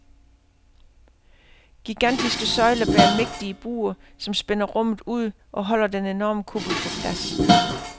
Gigantiske søjler bærer mægtige buer, som spænder rummet ud og holder den enorme kuppel på plads.